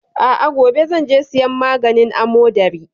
A'a, gobe zan je siyan maganin amodari.